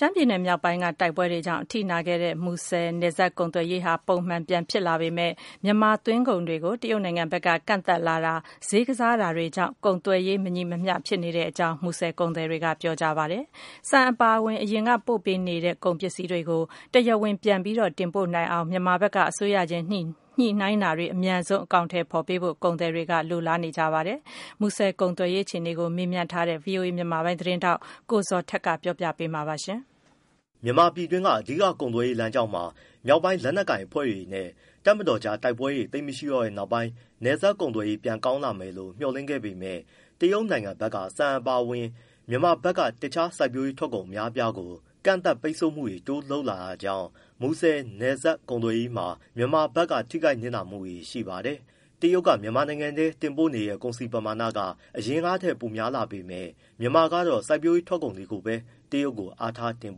ရှမ်းပြည်နယ်မြောက်ပိုင်းက တိုက်ပွဲတွေကြောင့် အထိနာခဲ့တဲ့ မူဆယ်နယ်စပ် ကုန်သွယ်ရေးဟာ ပုံမှန်ပြန်ဖြစ်လာပေမဲ့ တရုတ်နိုင်ငံက မြန်မာသွင်းကုန်တွေကို ကန့်သတ်လာတာ ဈေးကစားတာတွေကြောင့် ကုန်သွယ်ရေး မညီမျှမှုတွေဖြစ်နေကြောင်း မူဆယ်ကုန်သည်တွေက ပြောပါတယ်။ ဆန်အပါအဝင် အရင်က တင်ပို့နေတဲ့ ကုန်ပစ္စည်းတွေကို တရားဝင်ပြန်ပြီး တင်ပို့နိုင်အောင် မြန်မာဘက်က အစိုးရချင်း ညှိနှိုင်းတာတွေ အမြန်ဆုံး အကောင်အထည် ဖော်ပေးဖို့ ကုန်သည်တွေက မျှော်လင့် နေပါတယ်။ မူဆယ်ကုန်သွယ်ရေး အခြေအနေကို မေးမြန်းထားတဲ့ ဗွီအိုအေ မြန်မာပိုင်းသတင်းထောက် ကိုဇော်ထက်က ပြောပြပေးမှာပါ။ မြန်မာပြည်တွင်း အဓိက ကုန်သွယ်ရေး လမ်းကြောင်းပေါ်မှာ မြောက်ပိုင်းလက်နက်ကိုင် အဖွဲ့တွေနဲ့ တပ်မတော်အကြား တိုက်ပွဲတွေ သိပ်မရှိတော့တဲ့နောက်ပိုင်း နယ်စပ်ကုန်သွယ်ရေး ပြန်ကောင်းလာမယ်လို့ မျှော်လင့်ခဲ့ပေမဲ့ တရုတ်နိုင်ငံဘက်က ဆန်အပါအဝင် မြန်မာဘက်က တခြားစိုက်ပျိုးရေးထွက်ကုန် အများအပြားကို ကန့်သတ် ပိတ်ဆို့မှုတွေ တိုးလုပ်လာတာကြောင့် မူဆယ်နယ်စပ် ကုန်သွယ်ရေးမှာ မြန်မာဘက်က ထိခိုက်၊ နစ်နာမှုတွေ ရှိပါတယ်။ တရုတ်က မြန်မာနိုင်ငံထဲ တင်ပို့တဲ့ ကုန်စည်ပမာဏက အရင်ကထက် ပိုများလာပေမဲ့ မြန်မာကတော့ စိုက်ပျိုးရေးထွက်ကုန်ပဲ တရုတ်ကို အားထား တင်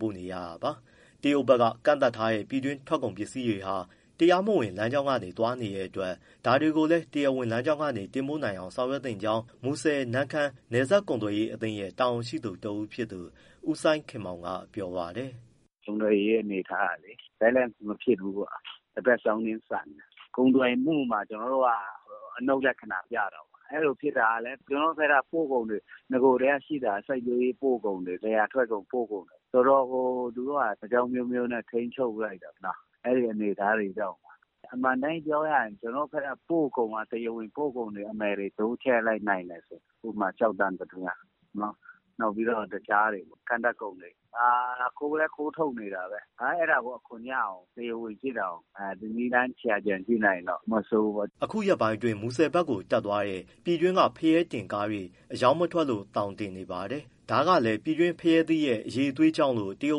ပို့နေရတာပါ။ တရုတ်ဘက်က ကန့်သတ်ထားတဲ့ ပြည်တွင်းကုန်ပစ္စည်းတွေဟာ တရားမဝင် လမ်းကြောင်းက သွားနေတဲ့အတွက် ဒါတွေကိုလည်း တရားဝင်လမ်းကြောင်းက တင်ပို့နိုင်အောင် ဆောင်ရွက်သင့်ကြောင်း မူဆယ်-နမ့်ခမ်း နယ်စပ်ကုန်သွယ်ရေးအသင်းရဲ့ တာဝန်ရှိသူ တဦးဖြစ်သူ ဦးစိုင်းခင်မောင်က ပြောပါတယ်။ “ကုန်သွယ်ရေး အနေအထားကလေ balance မဖြစ်ဘူးပေါ့။ တဘက်စောင်းနင်း ဆန်တယ်။ ကုန်သွယ်မှုမှာ ကျနော်တို့က အနုတ်လက္ခဏာ ပြတာပေါ့။ အဲဒီလိုဖြစ်တာကလည်း ကျနော်တို့ဘက်က ပို့ကုန်တွေ နဂိုကတည်းက ရှိတာက စိုက်ပျိုးရေး ပို့ကုန်တွေ လယ်ယာထွက်ကုန် ပို့ကုန်တွေ။ ဆိုတော့ သူတို့ (တရုတ်) က အကြောင်းအမျိုးမျိုးနဲ့ ထိန်းချုပ်ပစ်လိုက်တယ်။ အဲဒီအနေအထားတွေကြောင့်ပါ။ အမှန်အတိုင်း ပြောရရင် ကျနော်တို့ဘက်က တရားဝင်ပို့ကုန် အမယ်တွေ တိုးချဲ့နိုင်တယ်ဆိုရင် ဥပမာ- ကျောက်သံ ပတ္တမြား၊ နောက် တခြား ကန့်သတ်ကုန်တွေ။ အခုလည်း ခိုးထုတ်နေတာပဲ။ အဲဒါကို အခွန်ရအောင် တရားဝင်ဖြစ်အောင် နည်းလမ်း ရှာကြံ ကြည့်နိုင်ရင်တော့ မဆိုးဘူးပေါ့။ ပြည်သူအတွက်၊ နိုင်ငံအတွက် အကျိုးမဖြစ်ဘူး ဖြစ်နေတယ်။” အခုရက်ပိုင်းအတွင်း မူဆယ်ဘက်ကို တက်သွားတဲ့ ပြည်တွင်းက ဖရဲသီးတင်ကားတွေ အရောင်းမထွက်လို့ သောင်တင်နေပါတယ်။ ဒါကလည်း ပြည်တွင်းဖရဲသီးရဲ့ အရည်အသွေးကြောင့်လို့ တရု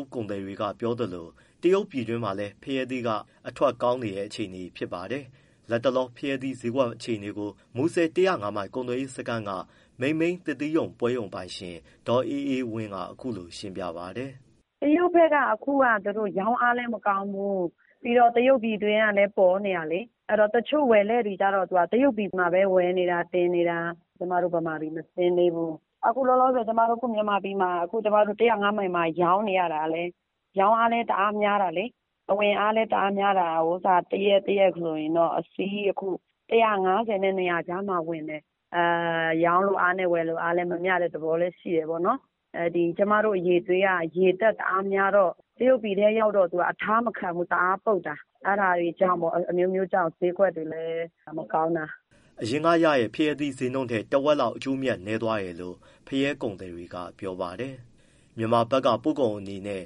တ်ကုန်သည်တွေက ပြောသလို တရုတ်ပြည်တွင်းမှာလည်း ဖရဲသီးက အထွက်ကောင်းနေတဲ့ အခြေအနေ ဖြစ်နေပါတယ်။ လက်တလော ဖရဲသီးဈေးကွက်အခြေအနေကို မူဆယ် ၁၀၅မိုင် ကုန်သွယ်ရေးစခန်းက မိန်မိန်းသစ်သီးပွဲရုံ ပိုင်ရှင် ဒေါ်အေးအေးဝင်းက အခုလို ရှင်းပြပါတယ်။ “တရုတ်ဘက်က အခုရောင်းအားလည်း မကောင်းဘူး။ ပြီးတော့ တရုတ်ပြည်တွင်းကလည်း ပေါ်နေတာလေ။ အဲဒီတော့ တချို့ဝယ်လက်တွေကျတော့ တရုတ်ပြည်မှာပဲ ဝယ်နေတာ၊ တင်နေတာ။ ကျမတို့ မြန်မာပြည် မဆင်းသေးဘူး။ အခုလောလောဆယ် ကျမတို့ မြန်မာပြည်မှာ ကျမတို့ ၁၀၅ မိုင်မှာ ရောင်းနေရတာလည်း ရောင်းအားလည်း တအားများတာလေ။ အဝင်အားလည်း တအားများတာ၊ တရက်တရက်ကို အခုအစီး ၁၅၀နဲ့ ၂၀၀ ကြားမှာ ဝင်တယ်။ ရောင်းလိုအားနဲ့ ဝယ်လိုအား မမျှတဲ့ သဘောလည်း ရှိတယ်ပေါ့နော်။ ကျမတို့ အရည်အသွေးက ရေဓာတ် တအားများတော့ တရုတ်ပြည်ထဲ ရောက်တော့ အထားမခံဘူး၊ တအားပုပ်တာ။ အဲဒါတွေကြောင့်ဖို့ပေါ့ ဈေးကွက်တွေလည်း မကောင်းတာ။” အရင်ကရတဲ့ ဖရဲသီးဈေးနှုန်းထက် တဝက်လောက် အကျိုးအမြတ် နည်းသွားတယ်လို့ ဖရဲသီးကုန်သည်တွေက ပြောပါတယ်။ မြန်မာက ပို့ကုန်အနေနဲ့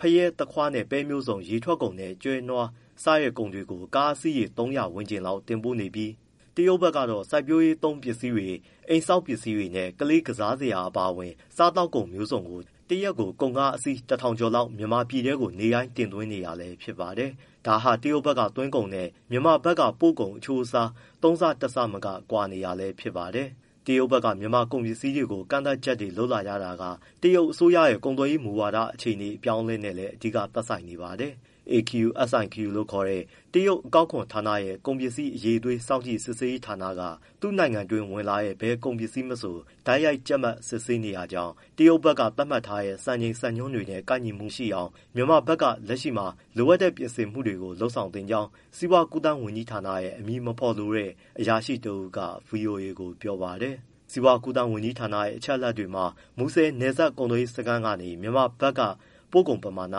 ဖရဲ၊ သခွားနဲ့ ပဲမျိုးစုံ၊ ရေထွက်ကုန်နဲ့ ကျွဲနွား စတဲ့ကုန်တွေ ကုန်ကားအစီးရေ ၃၀၀ ဝန်းကျင်လောက် တင်ပို့နေပြီး တရုတ်ဘက်ကတော့ စိုက်ပျိုးရေးသုံး ပစ္စည်းတွေ၊ အိမ်ဆောက် ပစ္စည်းတွေနဲ့ ကလေး ကစားစရာတွေ အပါအဝင် စားသောက်ကုန် မျိုးစုံကို တရက် ကုန်ကားအစီး ၁၀၀၀ ကျော်လောက် မြန်မာပြည်ထဲကို နေ့တိုင်း တင်သွင်းနေတာလည်း ဖြစ်ပါတယ်။ ဒါဟာ တရုတ်ဘက်က သွင်းကုန်နဲ့ မြန်မာဘက်ကပို့ကုန် အချိုးအစား ၃ ဆ၊ ၁ ဆမက ကွာဟနေတာလည်း ဖြစ်ပါတယ်။ တရုတ်ဘက်က မြန်မာ့ကုန်ပစ္စည်းတွေကို ကန့်သတ်ချက်တွေ လုပ်လာရတာက တရုတ်အစိုးရရဲ့ ကုန်သွယ်ရေးမူဝါဒ အပြောင်းအလဲနည်းလည်း အဓိက သက်ဆိုင်နေပါတယ်။ AQSIQ လို့ခေါ်တဲ့ တရုတ် အကောက်ခွန်ဌာနရဲ့ ကုန်ပစ္စည်းအရည်အသွေး စောင့်ကြည့် စစ်ဆေးရေးဌာနက သူ့နိုင်ငံအတွင်းဝင်လာတဲ့ ဘယ်ကုန်ပစ္စည်းမဆို တိုက်ရိုက် ကျပ်မတ် စစ်ဆေးနေတာကြောင့် တရုတ်ဘက်က သတ်မှတ်ထားတဲ့ စံချိန် စံနှုန်းတွေနဲ့ ကိုက်ညီမှုရှိအောင် မြန်မာဘက်က လက်ရှိမှာ လိုအပ်တဲ့ ပြင်ဆင်မှုတွေကို လုပ်ဆောင်နေကြောင်း စီးပွားကူးသန်းဝန်ကြီးဌာနက အမည်မဖော်လိုတဲ့ အရာရှိ တဦးက ဗွီအိုအေကို ပြောပါတယ်။ စီးပွားကူးသန်းဝန်ကြီးဌာနရဲ့ အချက်အလက်တွေမှာတော့ မူဆယ်နယ်စပ် ကုန်သွယ်ရေးကနေ မြန်မာဘက်က ပို့ကုန်ပမာဏ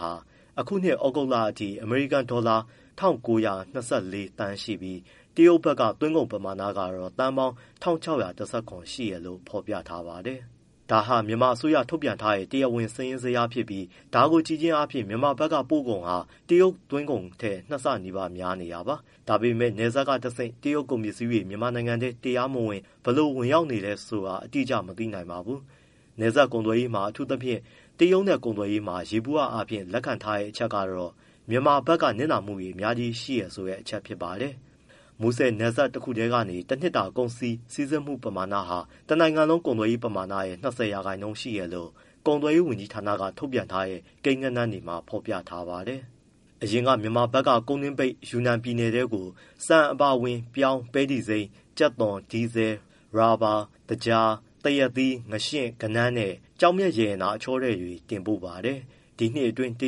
ဟာ အခုနှစ် သြဂုတ်လအထိ အမေရိကန်ဒေါ်လာ ၂၉၂၄ သန်း ရှိပြီး တရုတ်ဘက်က သွင်းကုန်ပမာဏကတော့ သန်းပေါင်း ၁၆၁၇ ရှိတယ်လို့ ဖော်ပြထားပါတယ်။ ဒါဟာ မြန်မာအစိုးရဘက်က ထုတ်ပြန်ထားတဲ့ တရားဝင် စာရင်းဇယားဖြစ်ပြီး ဒါကိုကြည့်ခြင်းအားဖြင့် မြန်မာဘက်က ပို့ကုန်ဟာ တရုတ်ဘက်ကသွင်းကုန်ထက် ၂ ဆနီးပါး များနေတာပါ။ ဒါပေမဲ့ နယ်စပ်ကတဆင့် တရုတ်ကုန် ပစ္စည်းတွေ မြန်မာနိုင်ငံထဲကို တရားမဝင် ဘယ်လောက် ဝင်ရောက်နေတယ် ဆိုတာကတော့ အတိအကျ မသိနိုင်ပါဘူး။ နယ်စပ်ကုန်သွယ်ရေးတွေမှာ အထူးသဖြင့် တရုတ်နဲ့ ကုန်သွယ်ရေးမှာ ယေဘုယျအားဖြင့် လက်ခံထားကြတဲ့အချက်ကတော့ မြန်မာဘက်က နစ်နာမှုတွေ အများကြီးရှိတယ်ဆိုတဲ့ အချက်ဖြစ်ပါတယ်။ မူဆယ်နယ်စပ်တခုထဲရဲ့ တနှစ်တာ ကုန်စည် စီးဆင်းမှုဟာ တနိုင်ငံလုံး ကုန်သွယ်ရေး ပမာဏရဲ့ ၂၀ ရာခိုင်နှုန်း ရှိတယ်လို့ ကုန်သွယ်ရေးဝန်ကြီးဌာနက ထုတ်ပြန်ထားတဲ့ ကိန်းဂဏန်းတွေမှာ ဖော်ပြထားပါတယ်။ အရင်က မြန်မာဘက်က ကုန်းတွင်းပိတ် တရုတ်ယူနန်ပြည်နယ်ထဲကို ဆန်အပါအဝင် ပြောင်း၊ ပဲတီစိမ်း၊ ကြက်သွန်၊ ဒီဇယ်၊ ရော်ဘာ၊ သကြား၊ သရက်သီး၊ ငါးရှဉ့်၊ ကဏန်းနဲ့ ကျောက်မျက်ရတနာ အချောထည်တွေ တင်ပို့ပါတယ်။ ဒီနှစ်အတွင်းမှာ တ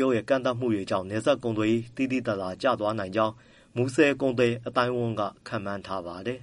ရုတ်ရဲ့ ကန့်သတ်မှုတွေကြောင့် နယ်စပ်ကုန်သွယ်ရေး သိသိသာသာ ကျသွားနိုင်ကြောင်း မူဆည်ကုန်သည် အသိုင်းအဝန်းက ခန့်မှန်းထားပါတယ်။